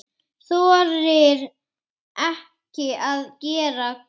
Þorir ekki að vera glöð.